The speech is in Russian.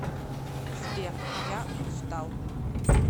сбер я устал